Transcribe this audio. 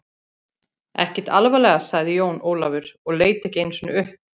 Ekkert alvarlega, sagði Jón Ólafur og leit ekki einu sinni upp.